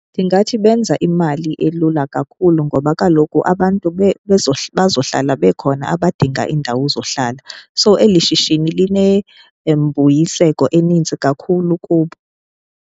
Ndingathi benza imali elula kakhulu ngoba kaloku abantu bazohlala bekhona abadinga iindawo zohlala. So, eli shishini linembuyiseko eninzi kakhulu kubo.